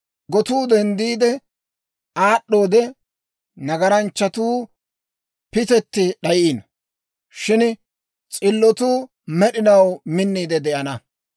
Gotuu denddiide aad'd'oode, nagaranchchatuu pitetti d'ayino; shin s'illotuu med'inaw minniide de'ana.